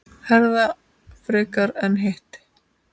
Herða frekar en hitt?